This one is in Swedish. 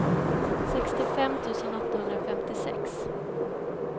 sextiofem tusen åttahundrafemtiosex